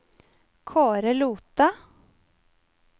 Kaare Lothe